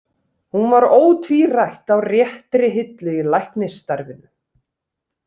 Hún var ótvírætt á réttri hillu í læknisstarfinu.